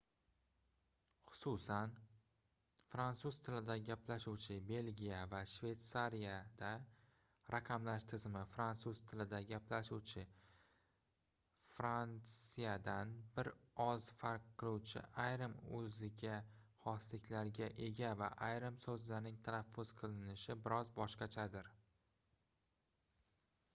xususan fransuz tilida gaplashuvchi belgiya va shveytsariyada raqamlash tizimi frantsuz tilida gaplashuvchi frantsiyadan bir oz farq qiluvchi ayrim oʻziga xosliklarga ega va ayrim soʻzlarning talaffuz qilinishi biroz boshqachadir